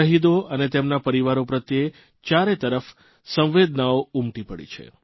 શહીદો અને તેમના પરીવારો પ્રત્યે ચારેતરફ સંવેદનાઓ ઉમટી પડી છે